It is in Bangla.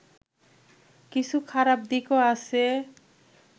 কিছু খারাপ দিকও আছে